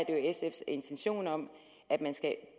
sfs intentioner at man skal